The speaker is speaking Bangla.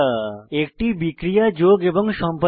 একটি বিক্রিয়া যোগ এবং সম্পাদন করা